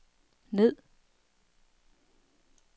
ned